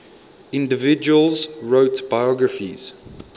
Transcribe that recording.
individuals wrote biographies